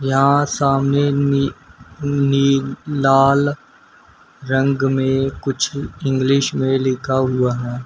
यहां सामने में खूनी लाल रंग में कुछ इंग्लिश में लिखा हुआ है।